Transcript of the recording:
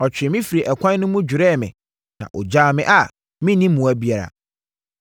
ɔtwee me firi ɛkwan no mu dwerɛɛ me na ɔgyaa me a menni mmoa biara.